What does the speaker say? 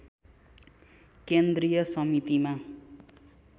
केन्द्रीय समितिमा